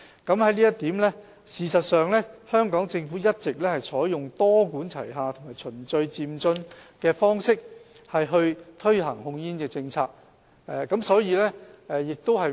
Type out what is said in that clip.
就這一點，事實上，香港政府一直採用多管齊下和循序漸進的方式推行控煙政策。